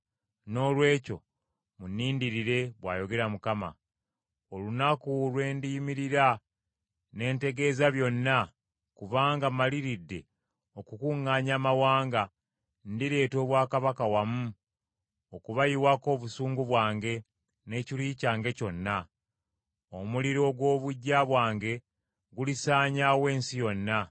Noolwekyo munnindirire,” bw’ayogera Mukama . Olunaku lwe ndiyimirira ne ntegeeza byonna kubanga mmaliridde okukuŋŋaanya amawanga, ndireeta obwakabaka wamu okubayiwako obusungu bwange, n’ekiruyi kyange kyonna. Omuliro ogw’obuggya bwange gulisaanyaawo ensi yonna.